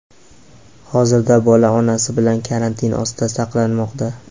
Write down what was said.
Hozirda bola onasi bilan karantin ostida saqlanmoqda.